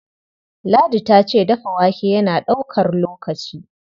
Ladi ta ce dafa wake yana ɗaukar lokaci.